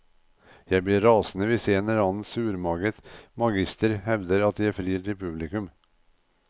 Jeg blir rasende hvis en eller annen surmaget magister hevder at jeg frir til publikum.